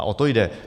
A o to jde.